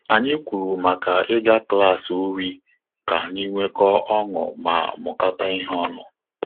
Anyị kwuru maka ịga klassi uri ka anyị nwekọ ọṅụ ma mukata ihe onu